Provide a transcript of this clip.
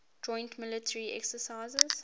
joint military exercises